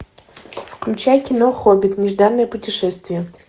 включай кино хоббит нежданное путешествие